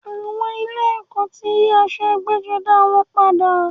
Àwọn ilé ẹ̀kọ́ ti yí aṣọ ẹgbẹ́-jọdá wọn padà.